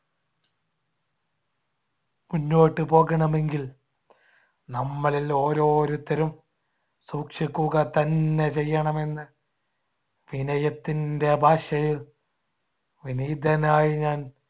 മുന്നോട്ട് പോകണമെങ്കിൽ നമ്മളിൽ ഓരോരുത്തരും സൂക്ഷിക്കുക തന്നെ ചെയ്യണമെന്ന് വിനയത്തിന്‍ടെ ഭാഷയിൽ വിനീതനായി ഞാൻ